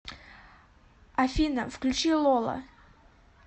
афина включи лола